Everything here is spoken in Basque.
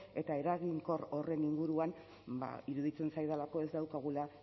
eta eraginkor horren inguruan ba iruditzen zaidalako ez daukagula